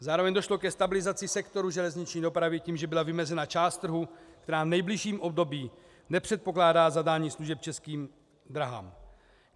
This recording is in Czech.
Zároveň došlo ke stabilizaci sektoru železniční dopravy tím, že byla vymezena část trhu, která v nejbližším období nepředpokládá zadání služeb Českým dráhám.